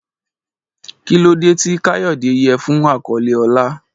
Kí ló dé tí Kayode yẹ fún àkọlé ọlá?